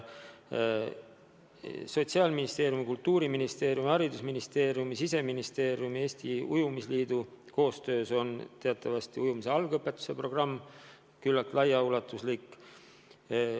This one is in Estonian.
Sotsiaalministeeriumi, Kultuuriministeeriumi, haridusministeeriumi, Siseministeeriumi ja Eesti Ujumisliidu koostöös on teatavasti kävitatud ujumise algõpetuse programm, mis on küllaltki laiaulatuslik.